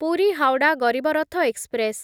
Puri Howrah Garib Rath express